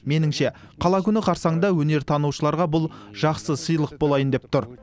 меніңше қала күні қарсаңында өнертанушыларға бұл жақсы сыйлық болайын деп тұр